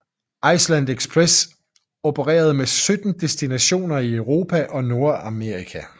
Iceland Express opererede med 17 destinationer i Europa og Nord Amerika